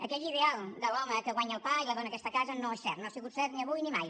aquell ideal de l’home que guanya el pa i la dona que està a casa no és cert no ha sigut cert ni avui ni mai